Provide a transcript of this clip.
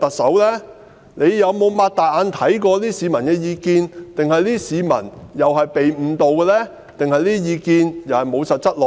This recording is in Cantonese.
司長可有睜開眼看看市民的意見，還是他認為市民都被誤導，他們的意見都欠缺實質內容呢？